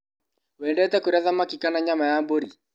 Wendete kũrĩa thamaki kana nyama ya mbũri?